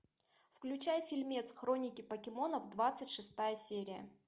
включай фильмец хроники покемонов двадцать шестая серия